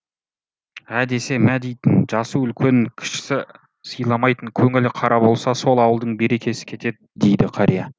ә десе мә дейтін жасы үлкен кішісі сыйламайтын көңілі қара болса сол ауылдың берекесі кетеді дейді қария